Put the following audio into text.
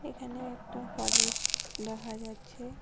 এখানে একটা ফরেস্ট দেখা যাচ্ছে।